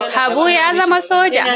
Habu ya zama soja.